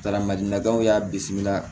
Kalamadinaw y'a bisimila